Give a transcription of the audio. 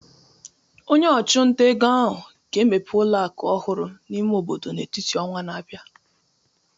Onye ọchụnta ego ahụ ga-emepe ụlọ akụ ọhụrụ n'ime obodo n'etiti ọnwa na-abịa